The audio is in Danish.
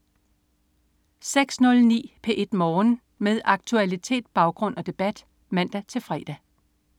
06.09 P1 Morgen. Med aktualitet, baggrund og debat (man-fre)